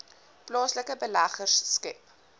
plaaslike beleggers skep